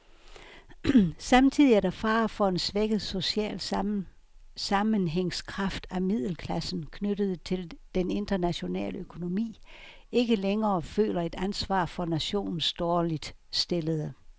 Samtidig er der fare for en svækket social sammenhængskraft, at middelklassen, knyttet til den internationale økonomi, ikke længere føler et ansvar for nationens dårligt stillede.